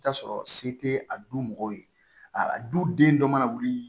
I bi t'a sɔrɔ se tɛ a du mɔgɔ ye a du den dɔ mana wuli